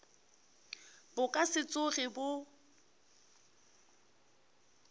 bo ka se tsoge bo